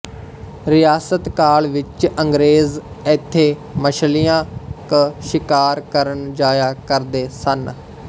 ਰਿਆਸਤ ਕਾਲ ਵਿੱਚ ਅੰਗ੍ਰੇਜ ਇੱਥੇ ਮਛਲੀਆਂ ਕ ਸ਼ਿਕਾਰ ਕਰਣ ਜਾਇਆ ਕਰਦੇ ਸਨ